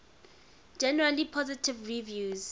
generally positive reviews